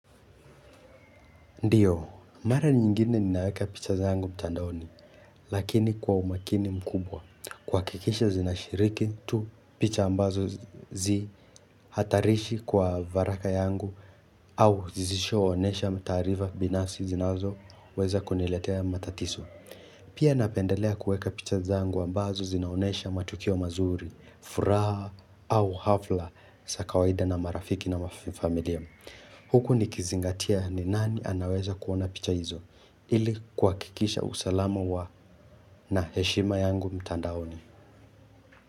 Ndiyo, mara nyingine ninaweka picha zangu mtandaoni, lakini kwa umakini mkubwa. Kuakikisha zinashiriki, tu picha ambazo zi hatarishi kwa varaka yangu au zizisho onesha mtaariva binafsi zinazo weza kuniletea matatiso. Pia napendelea kueka picha zangu ambazo zinaonesha matukio mazuri, furaha au hafla, sa kawaida na marafiki na mafamilia. Huku ni kizingatia ni nani anaweza kuona picha hizo ili kuakikisha usalama wa na heshima yangu mtandaoni.